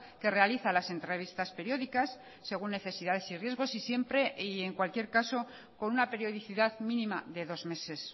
que realiza las entrevistas periódicas según necesidades y riesgos y siempre y en cualquier caso con una periodicidad mínima de dos meses